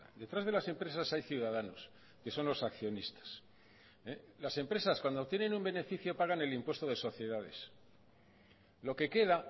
detrás de las empresas hay ciudadanos que son los accionistas las empresas cuando tienen un beneficio pagan el impuesto de sociedades lo que queda